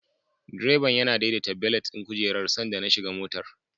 Direban yana daidaita belet ɗin kujerar sanda na shiga motar.